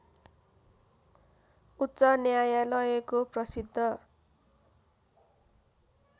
उच्च न्यायालयको प्रसिद्ध